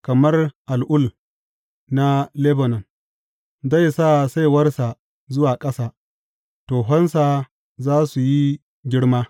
Kamar al’ul na Lebanon zai sa saiwarsa zuwa ƙasa; tohonsa za su yi girma.